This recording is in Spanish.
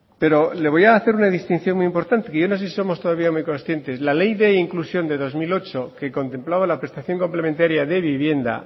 pero le voy a hacer una distinción muy importante que yo no sé si somos todavía muy conscientes la ley de inclusión de dos mil ocho que contemplaba la prestación complementaria de vivienda